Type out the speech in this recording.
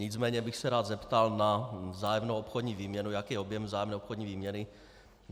Nicméně bych se rád zeptal na vzájemnou obchodní výměnu, jaký je objem vzájemné obchodní výměny.